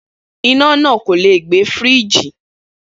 Iná náà kò leè gbẹ Fírííjì